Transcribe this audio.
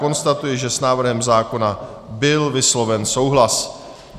Konstatuji, že s návrhem zákona byl vysloven souhlas.